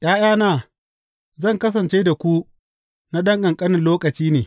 ’Ya’yana, zan kasance da ku na ɗan ƙanƙani lokaci ne.